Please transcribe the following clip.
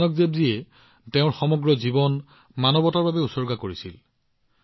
গোটেই জীৱনজুৰি গুৰু নানক দেৱজীয়ে মানৱতাৰ বাবে পোহৰ বিয়পাইছিল